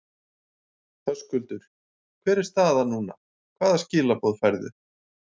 Höskuldur: Hver er staðan núna, hvaða skilaboð færðu?